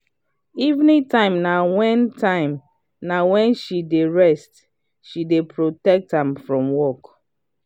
evening time na wen time na wen she d rest she dey protect am from work.